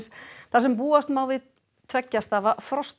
þar sem búast má við tveggja stafa